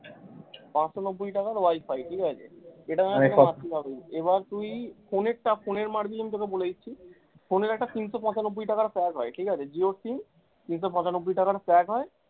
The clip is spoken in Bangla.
পাঁচশো নব্বই টাকার wi-fi ঠিকাছে, এবার তুই ফোনের টা ফোন মারবি আমি তোকে বলে দিচ্ছি, ফোনের একটা তিনশো পঁচানব্বই টাকার পাওয়া যায় ঠিক আছে jio sim তিনশো পঁচানব্বই টাকার pack হয়